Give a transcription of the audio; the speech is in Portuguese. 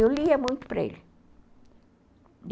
Eu lia muito para ele.